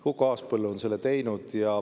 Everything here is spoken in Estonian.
Huko Aaspõllu on selle teinud.